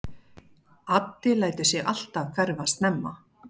Addi lætur sig alltaf hverfa snemma.